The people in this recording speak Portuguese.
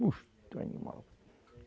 Monstro, animal.